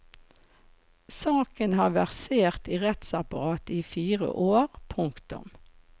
Saken har versert i rettsapparatet i fire år. punktum